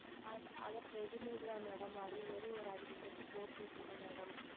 அது Readymade தான் Madam அது ஓர் ஓர் ஐந்து Set போட்டு விட்டிடுங்கள் Madam